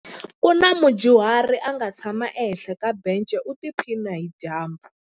Ku na mudyuhari a nga tshama ehenhla ka bence u tiphina hi dyambu.